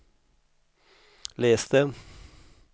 itläs det